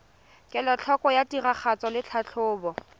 kelotlhoko ya tiragatso le tlhatlhobo